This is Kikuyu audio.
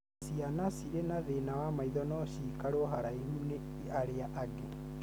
Ciana cirĩ na thĩna wa maitho no ciikarwo haraihu ni arĩa angĩ